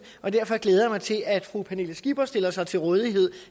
og derfor glæder jeg mig til at fru pernille skipper stiller sig til rådighed